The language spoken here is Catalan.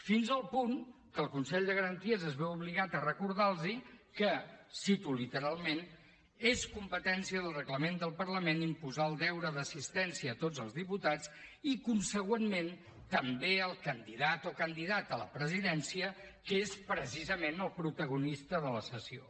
fins al punt que el consell de garanties es veu obligat a recordar los que cito literalment és competència del reglament del parlament imposar el deure d’assistència a tots els diputats i consegüentment també al candidat o candidata a la presidència que és precisament el protagonista de la sessió